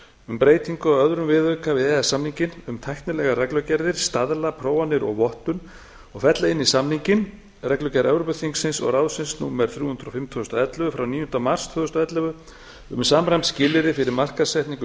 um breytingu á öðrum viðauka við e e s samninginn um tæknilegar reglugerðir staðla prófanir og vottun og fella inn í samninginn reglugerð evrópuþingsins og ráðsins númer þrjú hundruð og fimm tvö þúsund og ellefu frá níunda mars tvö þúsund og ellefu um samræmd skilyrði fyrir markaðssetningu